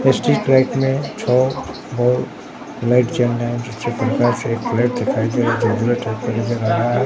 Street light में light जल रहा है फ्लैट दिखाई ।